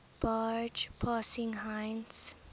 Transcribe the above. barge passing heinz